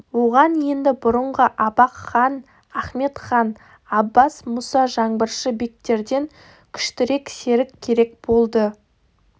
оған енді бұрынғы абақ хан ахмет хан аббас мұса жаңбыршы бектерден күштірек серік керек болды